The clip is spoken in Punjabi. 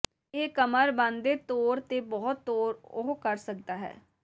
ਇਹ ਕਮਰ ਬਣ ਦੇ ਤੌਰ ਤੇ ਬਹੁਤ ਤੌਰ ਉਹ ਕਰ ਸਕਦਾ ਹੈ